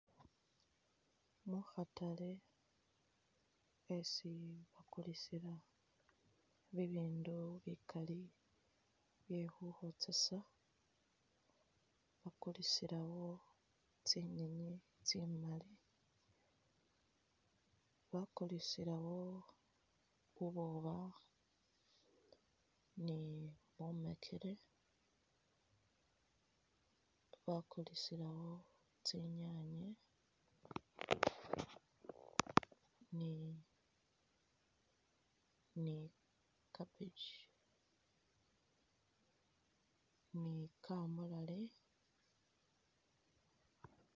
Mu khatale yesi bakulisila bibindu bikali bye khurambisa, bakulisilawo tsinyenyi tsimali, bakulisilawo bubwoba ni bumekele, bakulisilawo tsinyanye ni ni cabbage ni kamulali.